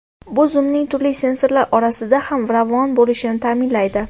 Bu zumning turli sensorlar orasida ham ravon bo‘lishini ta’minlaydi.